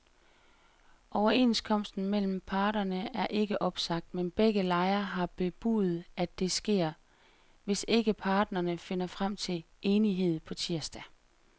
Overenskomsten mellem parterne er ikke opsagt, men begge lejre har bebudet, at det sker, hvis ikke parterne finder frem til enighed på tirsdag.